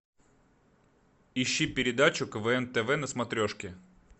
ищи передачу квн тв на смотрешке